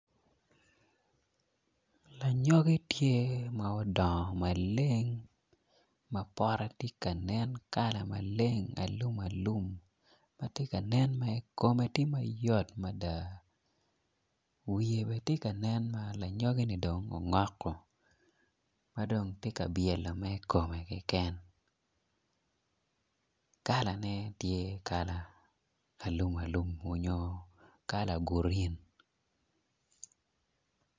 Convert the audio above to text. Anyoki tye ma odongo mabor ma pote tye ka nen pote maleng alumalum ma tye ka ma nen kome tye ka yot mada wiye bene tye ka nen ma lanyogini dong ongoko ma dong tye ka byelo mere kome keken kalane tye kala alumalum onyo kala gurin.